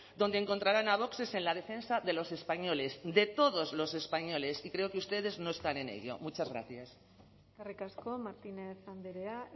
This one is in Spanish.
donde encontrarán a vox es en la defensa de los españoles de todos los españoles y creo que ustedes no están en ello muchas gracias eskerrik asko martínez andrea